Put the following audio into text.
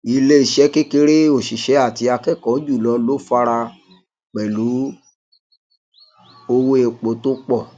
ilé iṣẹ kékeré òṣìṣẹ àti akẹkọọ jùlọ ló fara pẹlú owó epo tó pọ